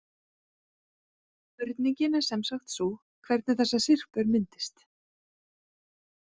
Spurningin er semsagt sú, hvernig þessar syrpur myndist.